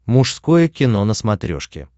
мужское кино на смотрешке